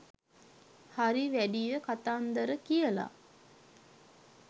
හරි වැඩිය කථාන්දර කියලා